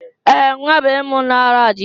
Ee! Nwa bọyị m lara dị ike ọrụ.